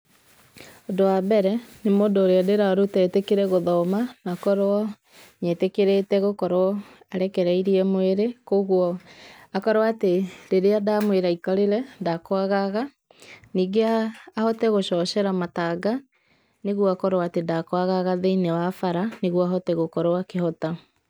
Ũndũ wambere, nĩ mũndũ ũrĩa ndĩrarũta etĩkĩre gũthoma na akorwo nĩ etĩkĩrĩte ngũkorwo arekereĩrĩe mwĩrĩ. Kũogũo akorwo atĩ rĩrĩa ndamwera aikarĩre ndakũagaga nĩĩngĩe ahote gũchochera mataga nĩgũo akorwo atĩ ndĩkũagaga theĩnĩ wa barabara nĩgũo ahote gũkorwo akĩhota.